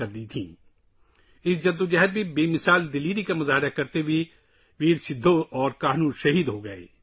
بہادر سدھو اور کانہو اس جدوجہد میں کمال بہادری کا مظاہرہ کرتے ہوئے شہید ہوئے